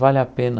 Vale a pena